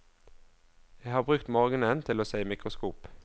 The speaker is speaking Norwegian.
Jeg har brukt morgenen til å se i mikroskop.